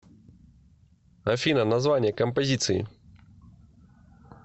афина название композиции